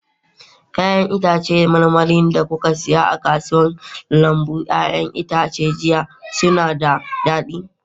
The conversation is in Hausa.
Ya'yan itãcen marmari da kuka saya a lambun 'ya'yan itace jiya, suna da daɗi?